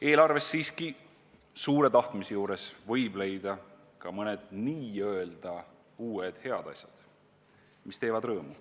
Eelarvest võib siiski suure tahtmise korral leida ka mõned n-ö uued head asjad, mis teevad rõõmu.